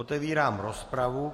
Otevírám rozpravu.